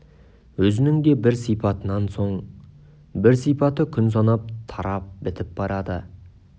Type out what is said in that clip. өзінің де бір сипатынан соң бір сипаты күн санап тарап бітіп барады